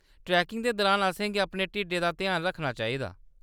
Trekking दे दुरान असेंगी अपने ढिड्डै दा ध्यान रक्खना चाहिदा।